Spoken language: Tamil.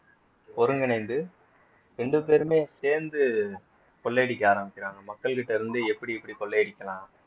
ஒருங்கிணைந்து ரெண்டு பேருமே சேர்ந்து கொள்ளையடிக்க ஆரம்பிக்கிறாங்க மக்கள்கிட்ட இருந்து எப்படி எப்படி கொள்ளை அடிக்கலாம்